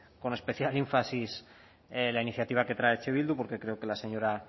con especial énfasis la iniciativa que trae eh bildu porque creo que la señora